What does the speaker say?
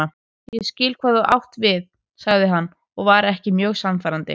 Ég skil hvað þú átt við sagði hann og var ekki mjög sannfærandi.